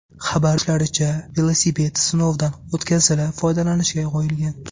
Xabar berishlaricha, velosiped sinovdan o‘tkazilib, foydalanishga qo‘yilgan.